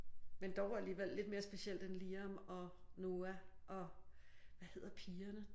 Men dog alligevel lidt mere specielt end Liam og Noah og hvad hedder pigerne?